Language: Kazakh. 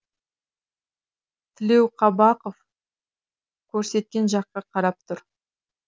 тілеуқабақов көрсеткен жаққа қарап тұр